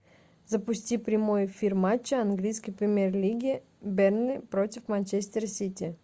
запусти прямой эфир матча английской премьер лиги бернли против манчестер сити